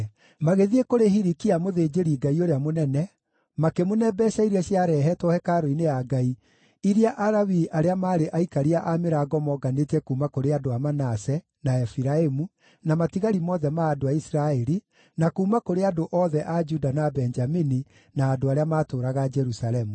Magĩthiĩ kũrĩ Hilikia mũthĩnjĩri-Ngai ũrĩa mũnene, makĩmũne mbeeca iria ciarehetwo hekarũ-inĩ ya Ngai, iria Alawii arĩa maarĩ aikaria a mĩrango moonganĩtie kuuma kũrĩ andũ a Manase, na Efiraimu, na matigari mothe ma andũ a Isiraeli, na kuuma kũrĩ andũ othe a Juda na Benjamini, na andũ arĩa maatũũraga Jerusalemu.